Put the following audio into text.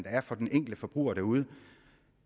er for den enkelte forbruger derude